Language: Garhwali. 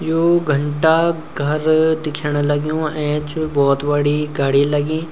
याे घंटाघर दिख्येणा लग्यु ऐंच बहौत बडी घड़ी लगीं।